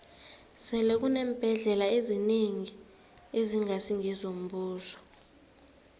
sele kuneembhendlela ezinengi ezingasi ngezombuso